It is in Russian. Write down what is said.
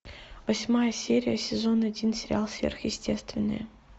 восьмая серия сезон один сериал сверхъестественное